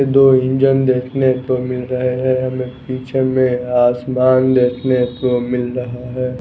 दो इंजन देखने को मिल रहे हैं हमें पीछे में आसमान देखने को मिल रहा है।